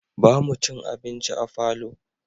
Ba mu cin abinci a falo